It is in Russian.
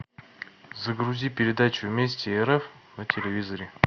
загрузи передачу вместе рф на телевизоре